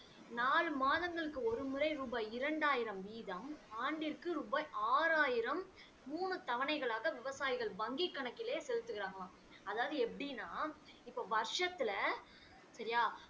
நாலு மாதங்களுக்கு ஒரு முறை ரூபாய் இரண்டாயிரம் வீதம் ஆண்டிற்கு ரூபாய் ஆராயிரம் மூணு தவணைகளாக விவசாயிகள் வங்கி கணக்கிலே செலுத்துகிறார்களாம் அதாவது எப்படின்னா இப்ப வருஷத்துல சரியா